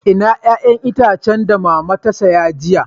Ina 'ƴa'ƴan itacen da mama ta siya jiya?